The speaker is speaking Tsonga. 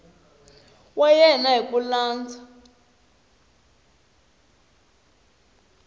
wa yena hi ku landza